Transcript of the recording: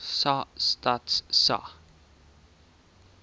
sa stats sa